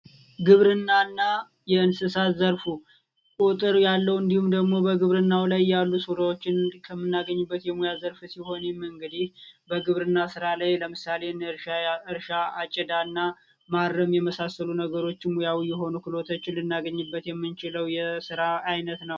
ግብርናና የእንስሳት ዘርፉ ቁጥር ያለው እንዲሁም ደግሞ ግብርናው ላይ ያሉ ሥራዎችን ከምናገኝበት ዘርፎች መካከል እንግዲህ ከግብርና ሥራዎች መካከል ለምሳሌ አጨዳ ስራ እና ማረም የመሳሰሉ ክህሎቶችን ልናገኝበት የምንችለው የስራ አይነት ነው።